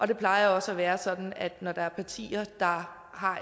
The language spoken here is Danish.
det plejer også at være sådan at når der er partier der har